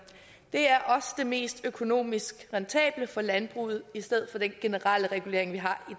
det er også det mest økonomisk rentable for landbruget i stedet for den generelle regulering vi har i